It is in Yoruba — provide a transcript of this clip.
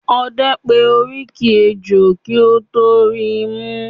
Ọdẹ pé oríkì ẹjọ́ kí ó tọ ríi mú.